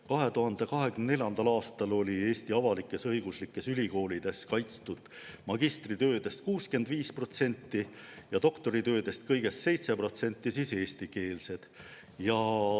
2024. aastal olid Eesti avalik-õiguslikes ülikoolides kaitstud magistritöödest 65% ja doktoritöödest kõigest 7% eestikeelsed.